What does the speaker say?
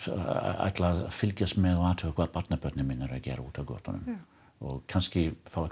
ætla að fylgjast með og athuga hvað barnabörnin mín eru að gera úti á götunum og kannski fá eitthvað